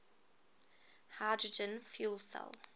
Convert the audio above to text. hydrogen fuel cell